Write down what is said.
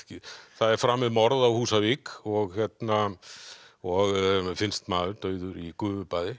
það er framið morð á Húsavík og og finnst maður dauður í gufubaði